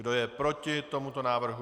Kdo je proti tomuto návrhu?